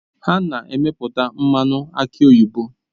Ha na-emepụta mmanụ aki oyibo